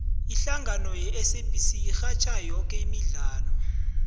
ihlangano yesabc irhatjha yoke imidlalo